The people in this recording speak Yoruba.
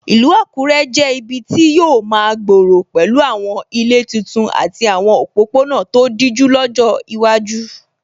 Ìlú Àkúrẹ́ yóò jẹ́ ibi tí yóò máa gbòòrò pẹ̀lú àwọn ilé titun àti àwọn òpópónà tó dijú lọ́jọ́ iwájú.